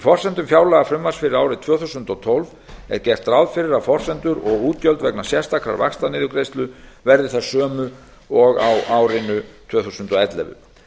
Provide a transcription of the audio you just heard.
forsendum fjárlagafrumvarps fyrir árið tvö þúsund og tólf er gert ráð fyrir að forsendur og útgjöld vegna sérstakrar vaxtaniðurgreiðslu verði þær sömu og á árinu tvö þúsund og ellefu